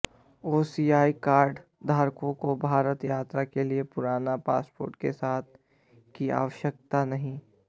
OCI card धारकों को भारत यात्रा के लिए पुराना पासपोर्ट साथ रखने की आवश्यकता नहीं